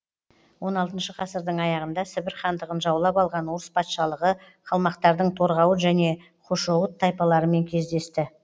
он алтыншы ғасырдың аяғында сібір хандығын жаулап алған орыс патшалығы қалмақтардың торғауыт және хошоуыт тайпаларымен кездесті